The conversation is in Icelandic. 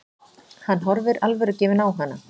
Hann horfir alvörugefinn á hana.